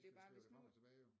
Skal slæbe det frem og tilbage jo